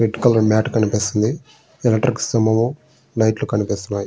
Red colour mat కనిపిస్తున్నది. Electric స్తంభము light కనిపిస్తున్నాయి.